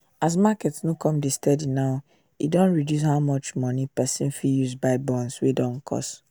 as market no come de steady now e e don reduce how much money person fit use buy bonds wey dey cost